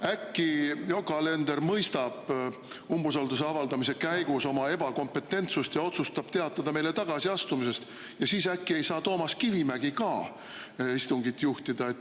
Äkki Yoko Alender mõistab umbusalduse avaldamise käigus oma ebakompetentsust ja otsustab teatada meile tagasiastumisest ja siis äkki ei saa Toomas Kivimägi istungit juhatada.